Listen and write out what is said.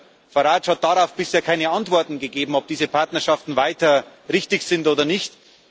Mister Farage hat darauf bisher keine Antworten gegeben, ob diese Partnerschaften weiter richtig sind oder nicht.